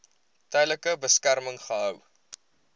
tydelike beskerming gehou